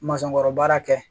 kɔrɔ baara kɛ